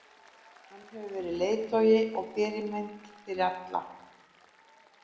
Hann hefur verið leiðtogi og fyrirmynd fyrir alla.